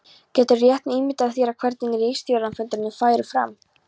Geturðu rétt ímyndað þér hvernig ritstjórnarfundirnir færu fram?